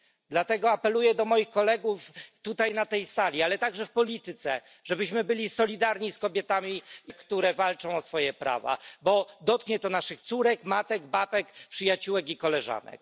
Dlatego apeluję do moich kolegów zarówno na tej sali, jak i w ogóle w polityce, żebyśmy byli solidarni z kobietami, które walczą o swoje prawa, bo dotknie to naszych córek, matek, babek, przyjaciółek i koleżanek.